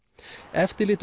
eftirlit